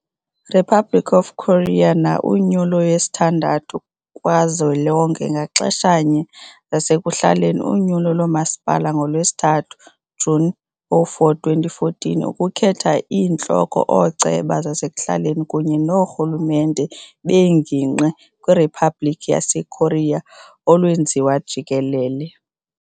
Republic of Korea na unyulo yesithandathu kazwelonke ngaxeshanye zasekuhlaleni unyulo lomasipala ngoLwesithathu, June 04, 2014 ukukhetha iintloko ooceba zasekuhlaleni kunye noorhulumente beengingqi kwiRiphabliki yaseKorea olwenziwa jikelele.